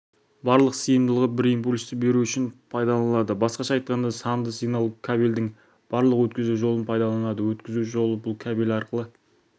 барлық сыйымдылығы бір импульсті беру үшін пайдаланылады басқаша айтқанда санды сигнал кабельдің барлық өткізу жолын пайдаланады өткізу жолы бұл кабель арқылы